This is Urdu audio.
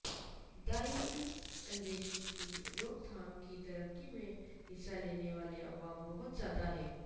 دائمی اندیشی کی روک تھام کی ترقی میں حصہ لینے والے عوامل بہت زیادہ ہیں